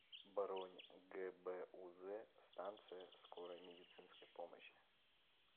бронь гбуз станция скорой медицинской помощи